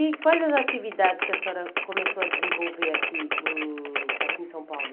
E quais as atividades que a senhora começou a desenvolver aqui em aqui em São Paulo?